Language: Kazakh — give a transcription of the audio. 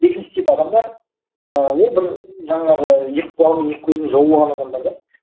екінші тип адамдар ыыы ол бір жаңағы екі құлағы мен екі көзін жауып алған адамдар да